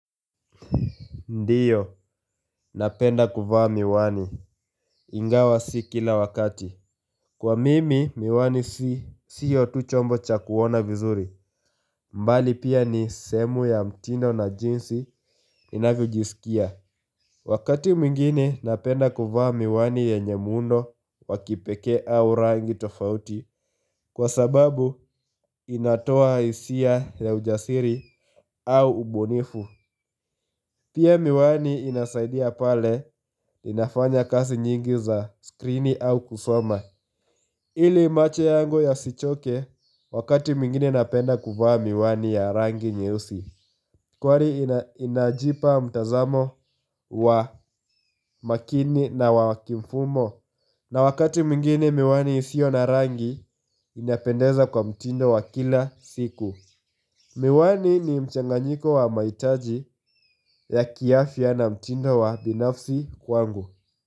Ndiyo, napenda kuvaa miwani. Ingawa si kila wakati. Kwa mimi, miwani siyo tu chombo cha kuona vizuri. Mbali pia ni sehemu ya mtindo na jinsi inavyojisikia. Wakati mwingine napenda kuvaa miwani yenye muundo wa kipekee au rangi tofauti kwa sababu inatoa hisia ya ujasiri au ubunifu Pia miwani inasaidia pale inafanya kazi nyingi za screen au kusoma ili imacho yangu yasichoke wakati mwingine napenda kuvaa miwani ya rangi nyeusi Kwari inajipa mtazamo wa makini na wa kimfumo na wakati mwingine miwani isio na rangi inapendeza kwa mtindo wa kila siku Miwani ni mchanganyiko wa mahitaji ya kiafya na mtindo wa binafsi kwangu.